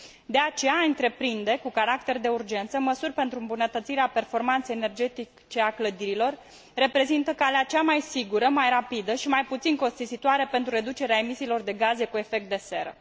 De aceea a întreprinde cu caracter de urgență măsuri pentru îmbunătățirea performanței energetice a clădirilor reprezintă calea cea mai sigură, mai rapidă și mai puțin costisitoare pentru reducerea emisiilor de gaze cu efect de seră.